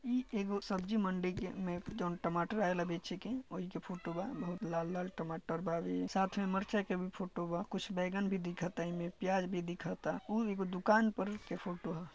ई एक सब्जी मंडी के मे जो टमाटर लगे छे के बोहिं के फोटो है बहोत लाल लाल टमाटर बा ये साथ में मरचाइ कि भी फोटो बा कुछ बैगन भी दिखाता | एगो ही ने पियाज भी दिखाता एगो उर एगो दुकान पर के फोटो है।